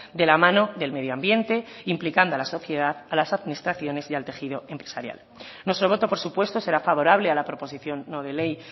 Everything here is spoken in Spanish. de la mano del medio ambiente implicando a la sociedad a las administraciones y al tejido empresarial nuestro voto por supuesto será favorable a la proposición no de ley